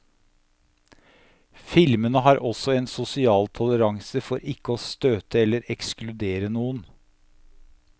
Filmene har også en sosial toleranse for ikke å støte eller ekskludere noen.